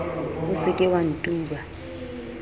o se ke wa ntuba